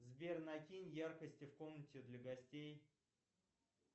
сбер накинь яркости в комнате для гостей